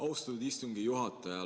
Austatud istungi juhataja!